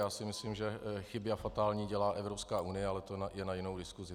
Já si myslím, že chyby, a fatální, dělá Evropská unie, ale to je na jinou diskusi.